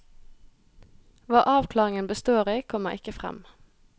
Hva avklaringen består i, kommer ikke frem.